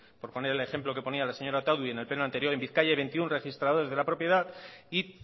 por poner el ejemplo que ponía la señora otadui en el pleno anterior en bizkaia hay veintiuno registradores de la propiedad y